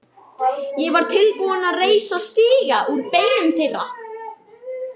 Ég var tilbúinn að reisa stiga úr beinum þeirra.